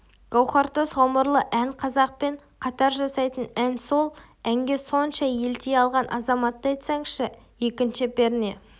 гауһартас ғұмырлы ән қазақпен қатар жасайтын ән сол әнге сонша елти алған азаматты айтсаңызшы екінші перне